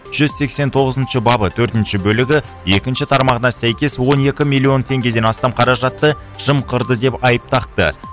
жүз сексен тоғызыншы бабы төртінші бөлігі екінші тармағына сәйкес он екі миллион тенгеден астам қаражатты жымқырды деп айып тақты